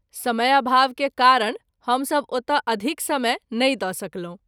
समयाभाव के कारण हम सभ ओतय अधिक समय नहिं द’ सकलहुँ।